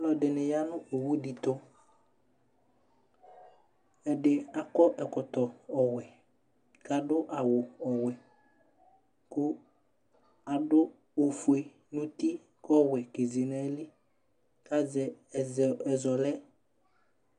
Ŋɩƴa ŋʊ owuɖɩtʊ Ɛɖɩ aƙɔ ɛƙɔtɔ ɔwɛ, ƙaɖʊ awʊ ɔwɛ ƙaɖʊ oƒoé ŋʊtɩ ƙʊ ɔwɛ ƙézé naƴɩlɩ Ƙazɛ ɛzɔlɛ